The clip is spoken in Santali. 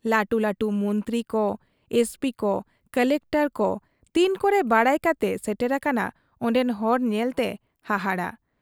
ᱞᱟᱹᱴᱩ ᱞᱟᱹᱴᱩ ᱢᱚᱱᱛᱨᱤ ᱠᱚ ,ᱮᱥᱯᱤ ᱠᱚ ᱠᱚᱞᱮᱠᱴᱚᱨ ᱠᱚ ᱛᱤᱱ ᱠᱚᱨᱮ ᱵᱟᱰᱟᱭ ᱠᱟᱛᱮ ᱥᱮᱴᱮᱨ ᱟᱠᱟᱱᱟ ᱚᱱᱰᱮᱱ ᱦᱚᱲ ᱧᱮᱞᱛᱮ ᱦᱟᱦᱟᱲᱟ ᱾